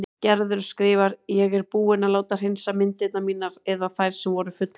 Gerður skrifar: Ég er búin að láta hreinsa myndirnar mínar eða þær sem voru fullbúnar.